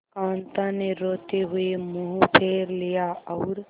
कांता ने रोते हुए मुंह फेर लिया और